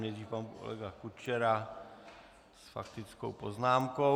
Nejdřív pan kolega Kučera s faktickou poznámkou.